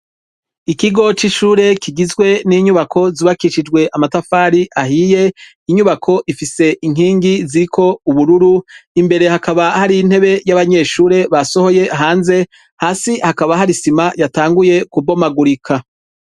Ikigo c'ishure kigizwe n'inyubako zubakishijwe amatafari ahiye, inyubako ifise inkingi ziriko ubururu, imbere hakaba hari intebe y'abanyeshure basoboye hanze, hasi hakaba hari isima yatanguye kubonagurika.